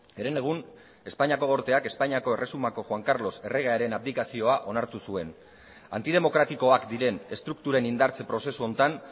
herenegun espainiako gorteak espainiako erresumako juan carlos erregearen abdikazioa onartu zuen antidemokratikoak diren estrukturen indartze prozesu honetan